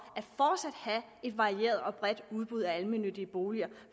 et varieret og bredt udbud af almennyttige boliger